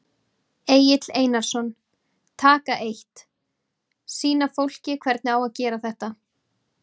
Egill Einarsson: Taka eitt, sýna fólki hvernig á að gera þetta?